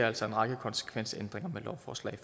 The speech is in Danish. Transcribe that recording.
altså en række konsekvensændringer med lovforslag